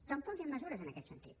tampoc hi han mesures en aquest sentit